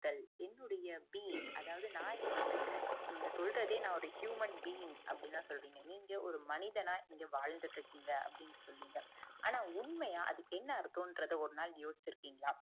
என்னுடைய bean அதாவுது நான் இங்க இருக்கிறேன் நீங்க சொல்லறதே நான் ஒரு humanbean அப்படிதான் சொல்றீங்க நீங்க ஒரு மனிதனா வாழ்ந்துட்டு இருக்கீங்க அப்புடின்னு சொல்லிங்கஆன உண்மைய அதுக்கு என்ன அர்த்தம்ங்குறத ஒரு நாள் யோசிச்சு இருக்கீங்களா